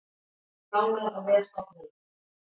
Nánar á vef stofnunarinnar